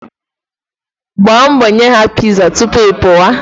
Gbaa mbọ nye ha piza tupu ị pụwa.